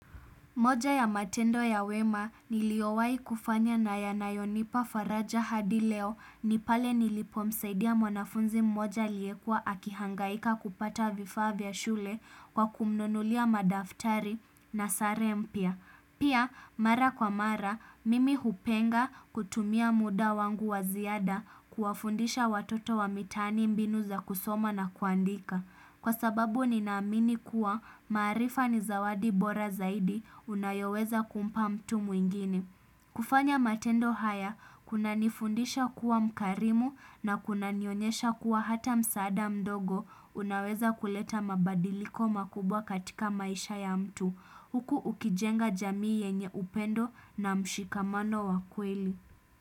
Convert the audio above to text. Moja ya matendo ya wema niliowahi kufanya na yanayonipa faraja hadileo ni pale nilipo msaidia mwanafunzi mmoja aliye kuwa akihangaika kupata vifaa vya shule kwa kumnunulia madaftari na sare mpya. Pia mara kwa mara mimi hupenda kutumia muda wangu waziada kuwafundisha watoto wa mitaani mbinu za kusoma na kuandika. Kwa sababu ninaamini kuwa maarifa ni zawadi bora zaidi unayoweza kumpa mtu mwingine kufanya matendo haya, kuna nifundisha kuwa mkarimu na kuna nionyesha kuwa hata msaada mdogo unaweza kuleta mabadiliko makubwa katika maisha ya mtu. Huku ukijenga jamii yenye upendo na mshikamano wakweli.